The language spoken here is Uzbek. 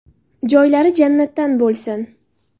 Joylari jannatdan bo‘lsin.